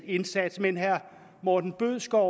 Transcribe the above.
indsats men herre morten bødskov